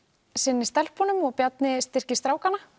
sinni stelpunum og Bjarni styrkir strákana